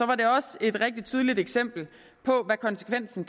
var det også et rigtig tydeligt eksempel på hvad konsekvensen